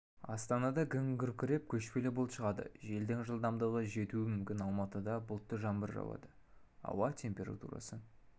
астанада күн күркіреп көшпелі бұлт шығады желдің жылдамдығы жетуі мүмкін алматыда бұлтты жаңбыр жауады ауа температурасы